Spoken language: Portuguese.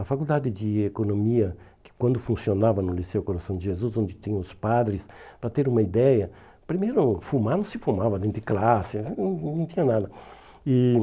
A faculdade de economia, que quando funcionava no Liceu Coração de Jesus, onde tinha os padres, para ter uma ideia, primeiro, fumar não se fumava dentro de classe, não não tinha nada. E